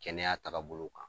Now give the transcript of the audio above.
Kɛnɛya tagabolo kan.